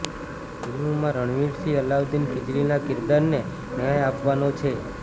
ફિલ્મમાં રણવીર સિંહ અલાઉદ્દીન ખિલજીના કિરદારને ન્યાય આપવાનો છે